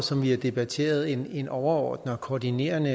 som vi har debatteret en en overordnet og koordinerende